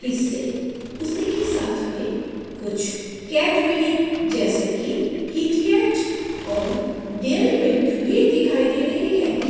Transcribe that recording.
इससे उसी के साथ में कुछ कैटबेरी जैसे कि कीट कैट और डेयरी मिल्क भी दिखाई दे रही है।